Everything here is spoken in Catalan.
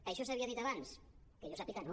això s’havia dit abans que jo sàpiga no